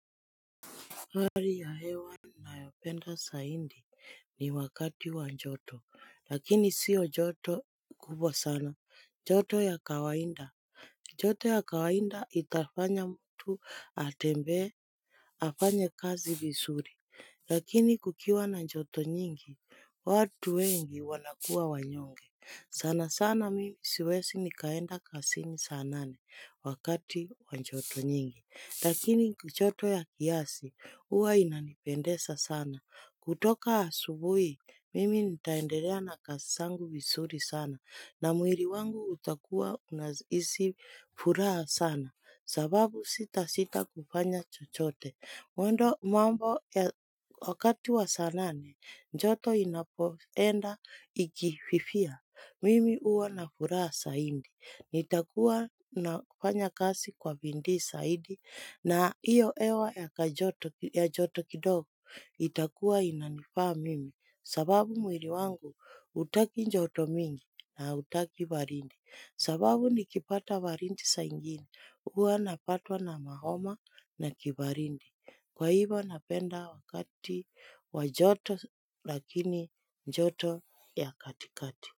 Kari ya hewa ninayopenda saindi ni wakati wa njoto lakini sio joto kubwa sana. Joto ya kawaida. Joto ya kawainda itafanya mtu atembee. Afanye kazi visuri lakini kukiwa na joto nyingi watu wengi wanakua wanyonge. Sana sana mimi siwesi nikaenda kasini saa nane wakati wanjoto nyingi. Lakini joto ya kiasi, uwa inanipendesa sana. Kutoka asubui, mimi nitaenderea na kasi sangu visuri sana. Na muiri wangu utakua unahisi furaha sana. Sababu sitasita kufanya chochote. Mwendo mambo ya wakati wa saa nane, njoto inapoenda ikififia. Mimi huwa na furaha saindi, nitakuwa nafanya kasi kwa bindii saidi, na iyo hewa ya joto kidogo, itakuwa inanifaa mimi, sababu mwiri wangu utaki njoto mingi na utaki barindi, sababu nikipata barindi saa ingini, huwa napatwa na mahoma na kibarindi, kwa hivo napenda wakati wa joto lakini joto ya katikati.